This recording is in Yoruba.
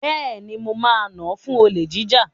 Bẹ́ẹ̀ni, mo nà án fún olè jíjà.